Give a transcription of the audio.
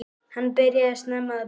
Hann byrjaði snemma að búa.